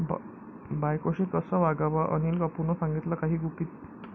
बायकोशी कसं वागावं? अनिल कपूरनं सांगितली काही गुपितं